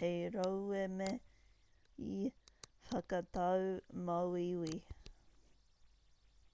hei rauemi whakatau māuiui